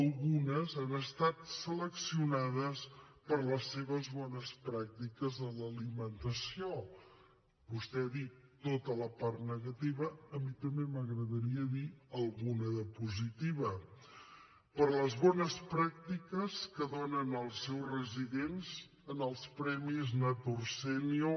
algunes han estat seleccionades per les seves bones pràctiques en l’alimentació vostè ha dit tota la part negativa a mi també m’agradaria dir ne alguna de positiva per les bones pràctiques que donen als seus residents en els premis nutrisenior